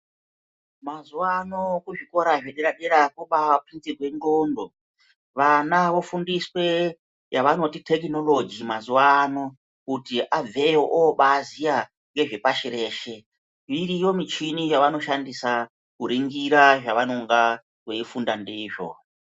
Mazuwa ano kuzvikora zvedera-dera kwobaatutsirwe ndxondo. Vana vofundiswe yavanoti thekinoloji mazuwaano kuti abveyo obaaziya ngezvepashi reshe. Iriyo muchini yavanoshandisa kuringirwa zvavanonga veifunda ndizvo.